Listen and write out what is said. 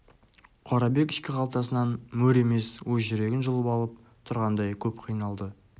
қорабек ішкі қалтасынан мөр емес өз жүрегін жұлып алып тұрғандай көп қиналды